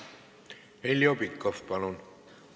Heljo Pikhof, palun!